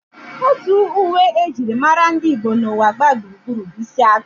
Otu uwe e jiri mara ndị Igbo n'ụwa gbaa gburugburu bụ isi agụ